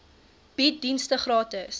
bied dienste gratis